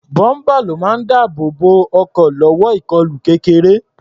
Bọ́ḿpà ló máa ń dáàbò bo ọkọ̀ lọ́wọ́ ìkọlù kéreké.